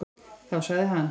Þá sagði hann: